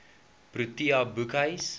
protea boekhuis